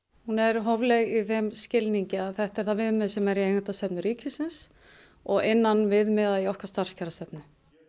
hún er hófleg í þeim skilningi að þetta er það viðmið sem er í eigendastefnu ríkisins og innan viðmiða í okkar starfskjarastefnu